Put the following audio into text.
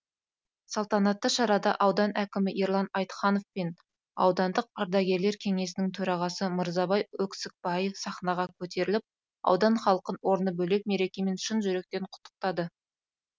салтанатты шарада аудан әкімі ерлан айтаханов пен аудандық ардагерлер кеңесінің төрағасы мырзабай өксікбаев сахнаға көтеріліп аудан халқын орны бөлек мерекемен шын жүректен құттықтады